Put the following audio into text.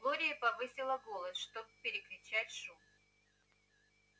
глория повысила голос чтоб перекричать шум